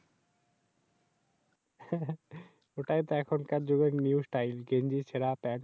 এটাই তো এখনকার যুগের New style গেঞ্জি চিরা পেন্ট চেরা।